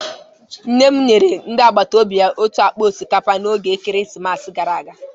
Nne m nyere ndị agbata obi ya otu akpa osikapa n'oge ekeresimesi gara aga